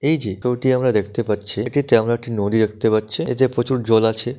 এই যে ত্র টি আমরা দেখতে পাচ্ছে এটিতে আমরা একটি নদী দেখতে পাচ্ছে। এতে প্রচুর জল আছে।